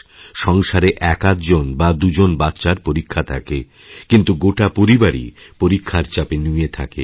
সংসারের একআধ জন বা দু জনবাচ্চার পরীক্ষা থাকে কিন্তু গোটা পরিবারই পরীক্ষার চাপে নুয়ে থাকে